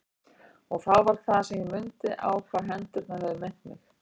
Og þá var það sem ég mundi á hvað hendurnar höfðu minnt mig.